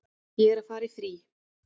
Ég er að fara í frí.